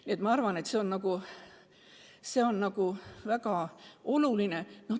Nii et ma arvan, et see seadus on väga oluline.